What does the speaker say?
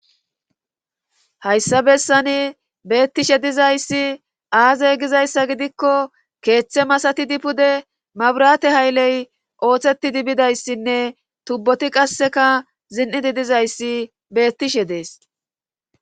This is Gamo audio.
hayssa bessani beetishe dizayssi aazee gizayssa gidikko keeththe massatizi pude mabirate hayle oosetidi bizayssinne tuboti qassikka zin'idi dizayssi beetishe de'ees.